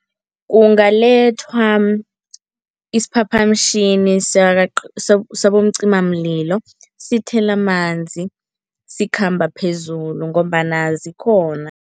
Kungalethwa isiphaphamtjhini sabomcimamlilo, sithele amanzi sikhamba phezulu ngombana zikhona.